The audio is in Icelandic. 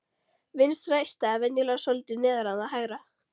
Vinstra eistað er venjulega svolítið neðar en það hægra.